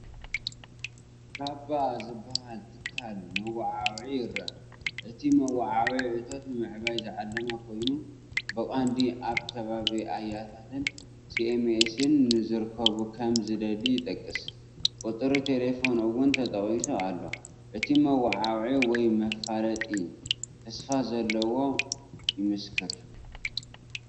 "ካባ" ዝበሃል ትካል መወዓውዒ ይረአ፣ እቲ መወዓውዒ እቶት ንምዕባይ ዝዓለመ ኮይኑ፡ ብቐንዱ ኣብ ከባቢ ኣያትን ሲኤምሲን ንዝርከቡ ከም ዝደሊ ይጠቅስ፡ ቁጽሪ ተሌፎን እውን ተጠቒሱ ኣሎ። እቲ መወዓውዒ ወይ መፋለጢ ተስፋ ዘለዎን ይምስክር፡፡!